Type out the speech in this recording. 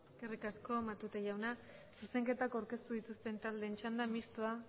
eskerrik asko matute jauna zuzenketak aurkeztu dituzten taldeen txanda mistoa